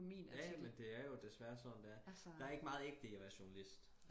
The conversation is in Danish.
ja men det er jo desværre sådan det er der er ikke meget ægte i at være journalist